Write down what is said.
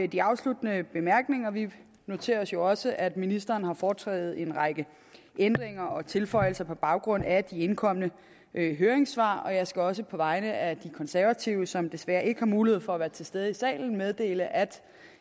de afsluttende bemærkninger vi noterer os jo også at ministeren har foretaget en række ændringer og tilføjelser på baggrund af de indkomne høringssvar jeg skal også på vegne af de konservative som desværre ikke har mulighed for at være til stede i salen meddele at